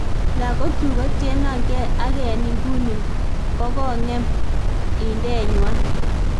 Lagokyuk kotienongee ak en inguni kogong'em indenywany